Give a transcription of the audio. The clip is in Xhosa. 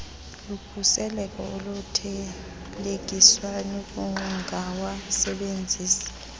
lukhuseleko oluthelekiswa nokungawasebenzisi